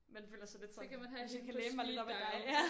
Man føler sig lidt sådan hvis jeg kan læne mig lidt op ad dig ja